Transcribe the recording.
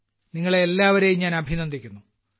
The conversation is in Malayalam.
ആദ്യംതന്നെ നിങ്ങളെ എല്ലാവരെയും ഞാൻ അഭിനന്ദിക്കുന്നു